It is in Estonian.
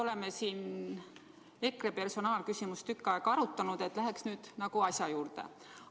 Oleme siin EKRE personaalküsimust tükk aega arutanud, läheks nüüd asja juurde.